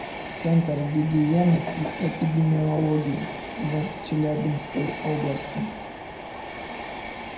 центр гигиены и эпидемиологии в челябинской области